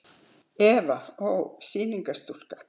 Eva Ó. sýningarstúlka.